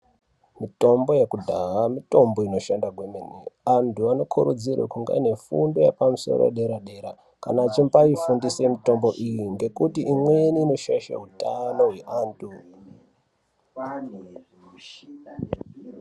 Mitombo ye kudhaha mitombo inoshanda kwemene antu ano kurudzirwe kunge aiine fundo yepa musoro ye dera dera kana achiimbai fundise mitombo iyi ngekuti imweni inoshaisha utano hwe vantu.